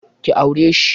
Ki aure shi!